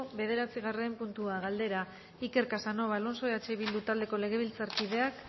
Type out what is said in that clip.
bederatzigarren puntua galdera iker casanova alonso eh bildu taldeko legebiltzarkideak